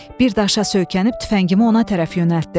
Bir daşa söykənib tüfəngimi ona tərəf yönəltdim.